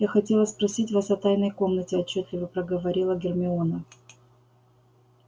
я хотела спросить вас о тайной комнате отчётливо проговорила гермиона